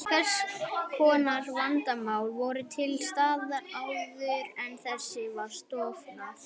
Hvers konar vandamál voru til staðar áður en það var stofnað?